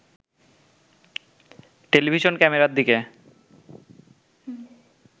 television ক্যামেরার দিকে